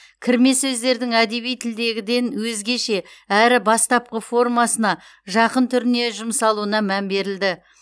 кірме сөздердің әдеби тілдегіден өзгеше әрі бастапқы формасына жақын түріне жұмсалуына мән берілді